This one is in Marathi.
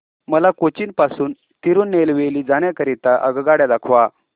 मला कोचीन पासून तिरूनेलवेली जाण्या करीता आगगाड्या दाखवा